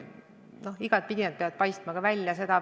No igatpidi see peab välja paistma.